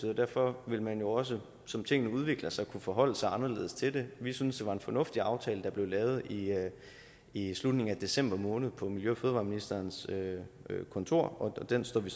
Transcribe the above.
og derfor vil man jo også som tingene udvikler sig kunne forholde sig anderledes til det vi synes det var en fornuftig aftale der blev lavet i i slutningen af december måned på miljø og fødevareministerens kontor og den står vi